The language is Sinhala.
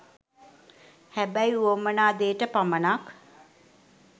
හැබැයි උවමනා දේට පමනක්